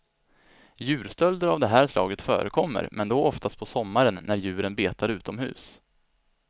Djurstölder av det här slaget förekommer, men då oftast på sommaren när djuren betar utomhus.